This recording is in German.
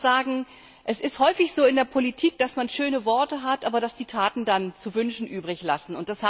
Ich muss sagen, es ist häufig so in der Politik, dass man schöne Worte hat, aber dass die Taten dann zu wünschen übrig lassen.